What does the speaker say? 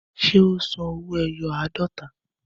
Ṣé ó san owó ẹyọ àádọ́ta?